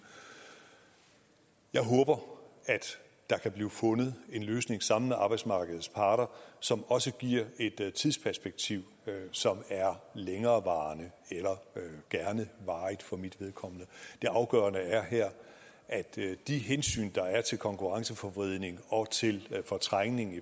jeg håber at der kan blive fundet en løsning sammen med arbejdsmarkedets parter som også giver et tidsperspektiv som er længerevarende eller gerne varigt for mit vedkommende det afgørende her er at de hensyn der er til konkurrenceforvridning og til fortrængning